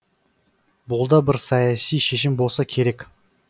бұл да бір саяси шешім болса керек